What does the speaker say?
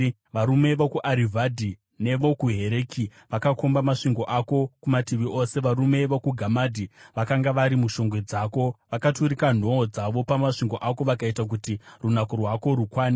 Varume vokuArivhadhi nevokuHereki vakakomba masvingo ako kumativi ose; varume vokuGamadhi vakanga vari mushongwe dzako. Vakaturika nhoo dzavo pamasvingo ako; vakaita kuti runako rwako rukwane.